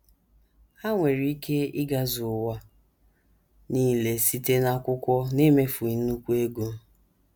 Ha nwere ike “ ịgazu ” ụwa nile site n’akwụkwọ n’emefeghị nnukwu ego.